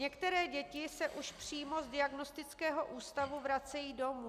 Některé děti se už přímo z diagnostického ústavu vracejí domů.